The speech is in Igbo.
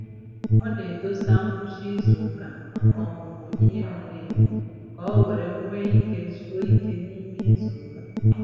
Ọ na-edosa ngwụcha izuụka maka ọmụmụ ihe miri emi ka o were nwee ike zuo ike n'ime izuụka.